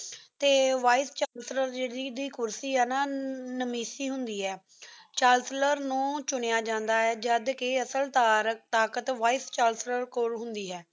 ਤੇ vice chancellor ਦੀ ਜੇਰੀ ਕੁਰਸੀ ਹੈ ਨਾ ਨ੍ਮਿਸ਼ੀ ਹੁੰਦੀ ਹੈ। ਚਾਸਲਾਰ ਨੂ ਚੁਣਿਆ ਜਾਂਦਾ ਹੈ ਜਦ ਕੇ ਅਸਲ ਤਾਕ਼ਤ vice ਚੰਕ੍ਲੇਰ ਕੋਲ ਹੁੰਦੀ ਹੈ